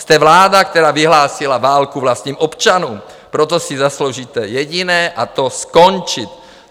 Jste vláda, která vyhlásila válku vlastním občanům, proto si zasloužíte jediné, a to skončit!